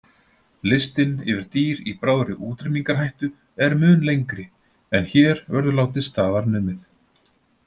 Listinn yfir dýr í bráðri útrýmingarhættu er mun lengri en hér verður látið staðar numið.